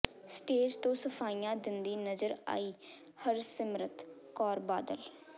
stage ਤੋਂ ਸਫ਼ਾਈਆਂ ਦਿੰਦੀ ਨਜ਼ਰ ਆਈ ਹਰਸਿਮਰਤ ਕੌਰ ਬਾਦਲ